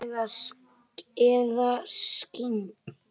Eða skyggn?